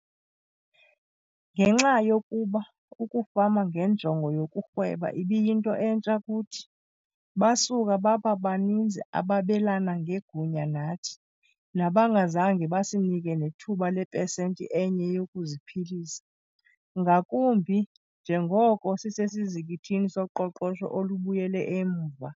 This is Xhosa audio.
Ngenxa yokuba ukufama ngenjongo yokurhweba ibiyinto entsha kuthi, basuka baba baninzi ababelana ngegunya nathi nabangazange basinike nethuba lepesenti enye yokuziphilisa, ngakumbi njengoko sisesizikithini soqoqosho olubuyele emva.